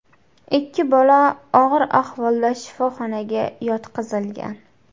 Ikki bola og‘ir ahvolda shifoxonaga yotqizilgan .